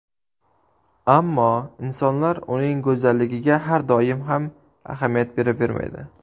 Ammo insonlar uning go‘zalligiga har doim ham ahamiyat beravermaydi.